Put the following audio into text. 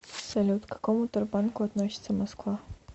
салют к какому тербанку относится москва